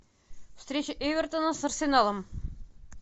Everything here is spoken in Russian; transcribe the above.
встреча эвертона с арсеналом